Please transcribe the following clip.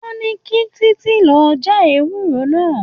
Wọ́n ní kí Títí lọ já ewúro náà.